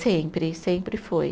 Sempre, sempre foi.